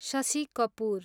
Shashi Kapoor